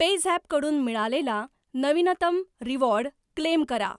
PayZapp कडून मिळालेला नवीनतम रिवॉर्ड क्लेम करा.